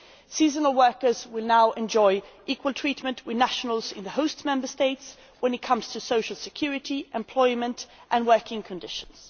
Seasonal workers will now enjoy equal treatment with nationals in the host Member States in terms of social security, employment and working conditions.